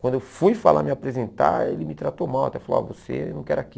Quando eu fui falar, me apresentar, ele me tratou mal, até falou, você, eu não quero aqui.